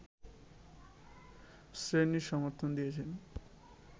শ্রীনির সমর্থন দিয়েছেন